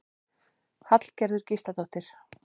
Hallgerður Gísladóttir.